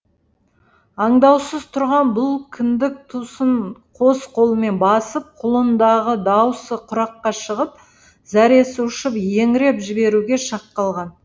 аңдаусыз тұрған бұл кіндік тұсын қос қолымен басып құлындағы даусы құраққа шығып зәресі ұшып еңіреп жіберуге шақ қалған